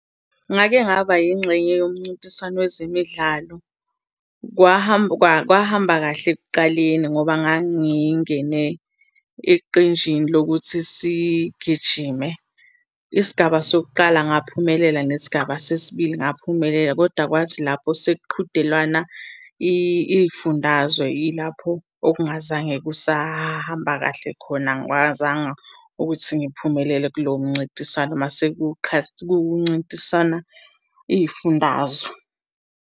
Ngake ngaba yingxenye yomncintiswano wezemidlalo. Kwahamba kwahamba kahle ekuqaleni ngoba ngangingene eqinjini lokuthi sigijime. Isigaba sokuqala ngaphumelela, nesigaba sesibili ngaphumelela. Koda kwathi lapho sekuqhudelwana iy'fundazwe, yilapho okungazange kusahamba kahle khona. Angikwazanga ukuthi ngiphumelele kulowo mncintiswano uma kuncintisana iy'fundazwe.